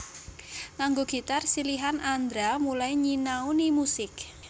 Nganggo gitar silihan Andra mulai nyinauni musik